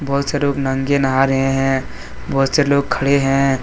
बहोत सारे नंगे नाह रहे हैं बहुत से लोग खड़े हैं।